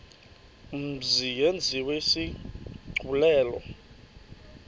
mzi yenziwe isigculelo